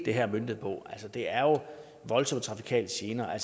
er møntet på det er voldsomme trafikale gener